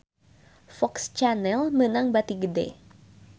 FOX Channel meunang bati gede